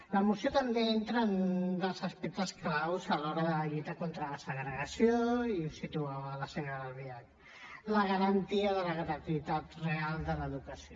la moció també entra en un dels aspectes clau a l’hora de la lluita contra la segregació i ho situava la senyora albiach la garantia de la gratuïtat real de l’educació